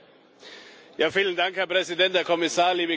Herr Präsident, Herr Kommissar, liebe Kolleginnen und Kollegen!